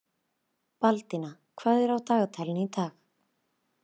Baldína, hvað er á dagatalinu í dag?